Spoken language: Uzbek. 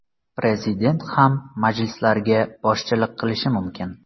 Prezident ham majlislarga boshchilik qilishi mumkin.